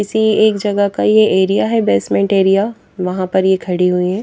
किसी एक जगह का ये एरिया है बेसमेंट एरिया वहां पर ये खड़ी हुई है।